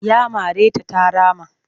Ya mare ta ta rama